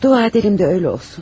Dua edirəm ki, elə olsun.